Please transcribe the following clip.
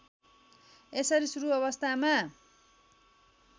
यसरी सुरु अवस्थामा